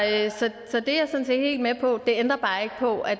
er jeg sådan set helt med på det ændrer bare ikke på at